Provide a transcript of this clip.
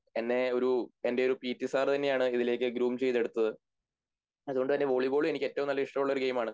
എന്നെ ഒരു എൻ്റെ ഒരു പീട്ടി സാറുതന്നെയാണ് ഇതിലേക്ക് ഗ്രൂമ് ചെയ്തെടുത്തത് അതുകൊണ്ടുതന്നെ വോളിബോളും എനിക്ക് ഏറ്റവും നല്ല ഇഷ്ടമുള്ള ഗെയിം ആണ്